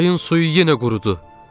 Çayın suyu yenə qurudu.